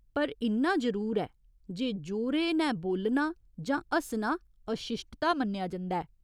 पर इन्ना जरूर ऐ जे जोरे नै बोल्लना जां हस्सना अशिश्टता मन्नेआ जंदा ऐ।